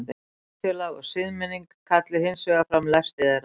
samfélag og siðmenning kalli hins vegar fram lesti þeirra